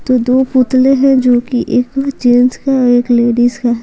तो दो पुतले हैं जो कि एक जेंट्स का है एक लेडीज का है।